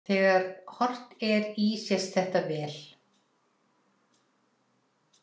Þegar horft er í sést þetta vel.